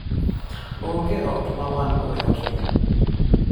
Onge ot ma wan-go e otni.